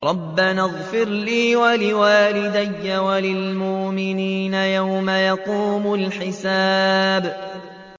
رَبَّنَا اغْفِرْ لِي وَلِوَالِدَيَّ وَلِلْمُؤْمِنِينَ يَوْمَ يَقُومُ الْحِسَابُ